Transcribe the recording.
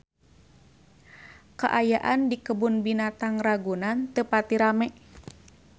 Kaayaan di Kebun Binatang Ragunan teu pati rame